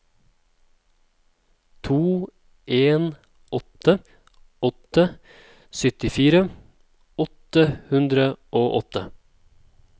to en åtte åtte syttifire åtte hundre og åtte